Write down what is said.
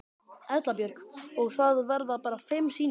Erla Björg: Og það verða bara fimm sýningar?